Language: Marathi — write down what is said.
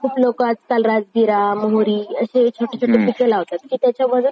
खूप लोकं आजकाल राजगिरा, मोहरी, असे छोटे छोटे पिकं लावतात. की त्याच्यामध्ये